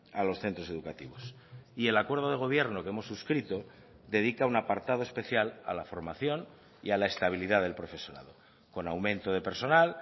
a los centros educativos y el acuerdo de gobierno que hemos suscrito dedica un apartado especial a la formación y a la estabilidad del profesorado con aumento de personal